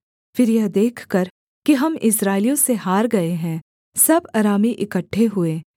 फिर यह देखकर कि हम इस्राएलियों से हार गए है सब अरामी इकट्ठे हुए